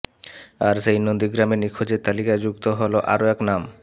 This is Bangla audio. আর সেই নন্দীগ্রামে নিখোঁজের তালিকায় যুক্ত হল আরও এক নাম